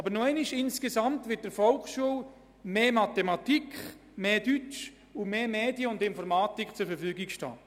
Aber noch einmal: Insgesamt werden der Volksschule mehr Deutschstunden und mehr Medien- und Informatikunterricht zur Verfügung stehen.